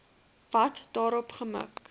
wat daarop gemik